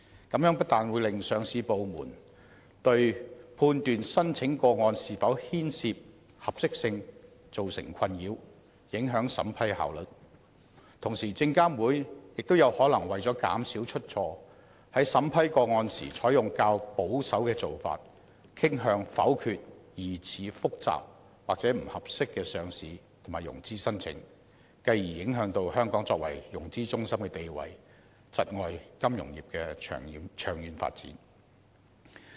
這樣不但令上市部對判斷申請個案是否牽涉合適性造成困擾，影響審批效率，同時證監會亦可能為了減少出錯，在審批個案時採取較保守的做法，傾向否決疑似複雜或不合適的上市及融資申請，繼而影響香港作為融資中心的地位，窒礙金融業的長遠發展。